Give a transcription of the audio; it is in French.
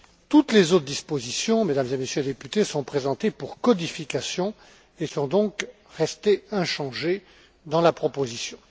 Toutes les autres dispositions, Mesdames et Messieurs les députés, sont présentées pour codification et sont donc restées inchangées dans la proposition.